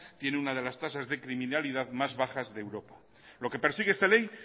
tiene una de las tasas de criminalidad más bajas de europa lo que persigue esta ley